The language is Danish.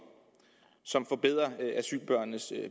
som forbedrer asylbørnenes